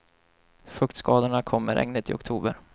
Fuktskadorna kom med regnet i oktober.